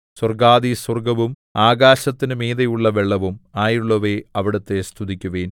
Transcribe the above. സ്വർഗ്ഗാധിസ്വർഗ്ഗവും ആകാശത്തിനു മീതെയുള്ള വെള്ളവും ആയുള്ളവയേ അവിടുത്തെ സ്തുതിക്കുവിൻ